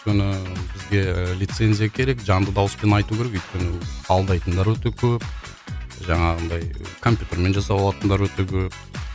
өйткені бізге і лицензия керек жанды дауыспен айту керек өйткені алдайтындар өте көп жаңағындай компьютермен жасап алатындар өте көп